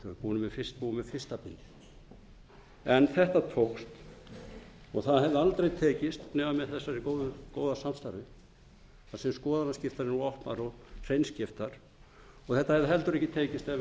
tuttugu búnir með fyrsta bindið en þetta tókst og það hefði aldrei tekist nema með þessu góða samstarfi að séu skoðanaskiptanir opnar og hreinskiptar og þetta hefði heldur ekki tekist ef við hefðum ekki notið